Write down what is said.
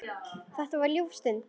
Þetta var ljúf stund.